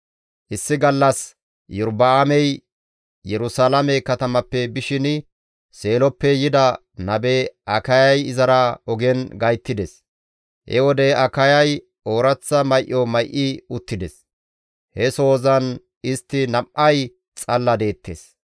Issi gallassi Iyorba7aamey Yerusalaame katamappe bishin Seeloppe yida nabe Akayay izara ogen gayttides. He wode Akayay ooraththa may7o may7i uttides. He sohozan istti nam7ay xalla deettes.